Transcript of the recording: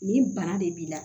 Nin bana de b'i la